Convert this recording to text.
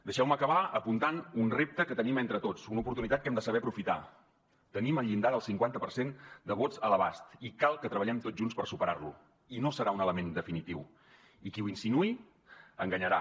deixeu me acabar apuntant un repte que tenim entre tots una oportunitat que hem de saber aprofitar tenim el llindar del cinquanta per cent de vots a l’abast i cal que treballem tots junts per superar lo i no serà un element definitiu i qui ho insinuï enganyarà